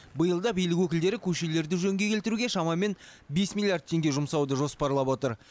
биыл да билік өкілдері көшелерді жөнге келтіруге шамамен бес миллиард теңге жұмсауды жоспарлап отыр